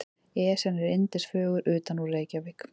Esjan er yndisfögur utanúr Reykjavík.